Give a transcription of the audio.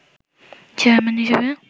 chairman হিসেবে